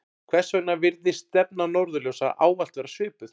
hvers vegna virðist stefna norðurljósa ávallt vera svipuð